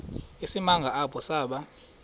isimanga apho saba